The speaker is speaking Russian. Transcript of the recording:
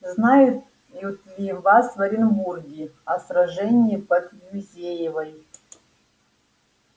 знают ли у вас в оренбурге о сражении под юзеевой